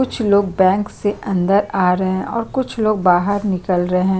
कुछ लोग बैंक से अंदर आ रहे है और कुछ लोग बाहर निकल रहे है |